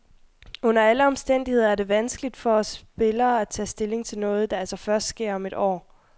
Under alle omstændigheder er det vanskeligt for os spillere at tage stilling til noget, der altså først sker om et år.